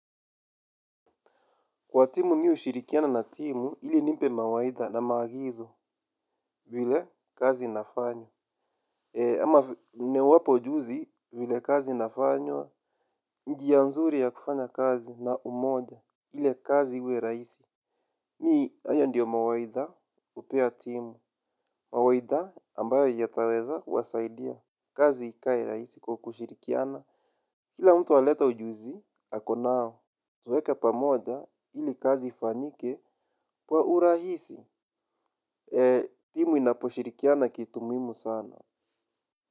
Kwa timu mimi ushirikiana na timu, ili nimpe mawaidha na maagizo vile kazi inafanywa. Ama niwape ujuzi vile kazi inafanywa, njia nzuri ya kufanya kazi na umoja, ili kazi iwe rahisi. Mimi, hayo ndiyo mawaidha hupea timu, mawaidha ambayo yataweza wasaidia kazi ikae rahisi kwa kushirikiana. Kila mtu alete ujuzi, ako nao, tuweka pamoja ili kazi ifanyike kwa urahisi, timu inaposhirikiana kitu muhimu sana.